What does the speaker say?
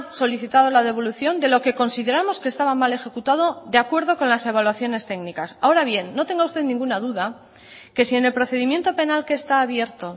solicitado la devolución de lo que consideramos que estaba mal ejecutado de acuerdo con las evaluaciones técnicas ahora bien no tenga usted ninguna duda que si en el procedimiento penal que está abierto